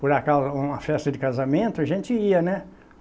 Por acaso, uma festa de casamento, a gente ia, né?